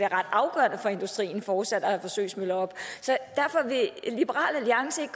ret afgørende for industrien fortsat at have forsøgsmøller oppe vil liberal alliance